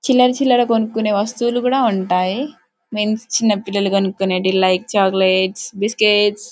చిలరాచిలరా కొన్నికోని వస్తువులు కూడా ఉంటాయి. మీన్స్ చిన్నపిల్లా కొన్నికొనవి లైక్ చాక్లెట్ బిస్క్యూయిస్ --